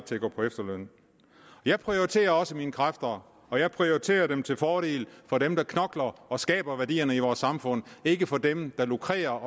til at gå på efterløn jeg prioriterer også mine kræfter og jeg prioriterer dem til fordel for dem der knokler og skaber værdierne i vores samfund ikke for dem der lukrerer